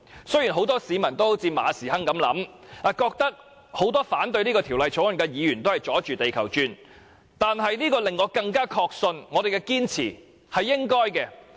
雖然很多市民也像馬時亨一樣，認為很多反對《條例草案》的議員是"阻住地球轉"，但這反而令我更確信我們的堅持是應該的。